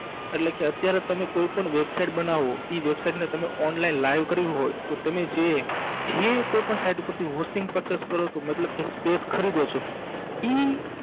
અટલેકે અત્યારે તમે કોઈ પણ website બનાવો ઇ website ને તમારે online live કરવી હોય તો તમે જે જે કોઈ પણ site ઉપેરથી Hosting Purchase કરો છો મતલબ કે Space ખરીદો છો ઇ